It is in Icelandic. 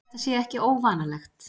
Þetta sé ekki óvanalegt